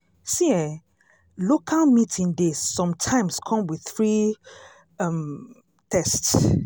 see eh local meeting dey sometimes come with free um test.